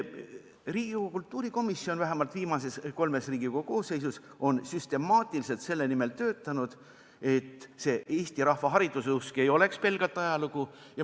Riigikogu kultuurikomisjon on vähemalt viimases kolmes Riigikogu koosseisus süstemaatiliselt töötanud selle nimel, et see eesti rahva hariduseusk ei oleks pelgalt ajalugu.